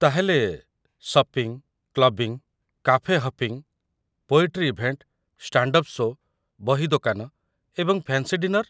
ତା'ହେଲେ, shopping, clubbing, cafe hopping, poetry event, stand up show', ବହି ଦୋକାନ, ଏବଂ ଫ୍ୟାନ୍ସି ଡିନର।